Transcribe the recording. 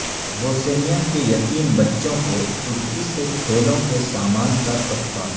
Bosnia کے یتیم بچوں کو ترکی سے کھیلوں کے سامان کا تحفہ